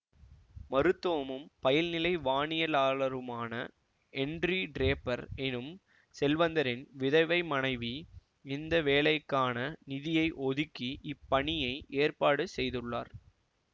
மருத்துவமும் பயில்நிலை வானியலாளருமான Henry Draper எனும் செல்வந்தரின் விதவை மனைவி இந்த வேலைக்கான நிதியை ஒதுக்கி இப்பணியை ஏற்பாடு செய்துள்ளார்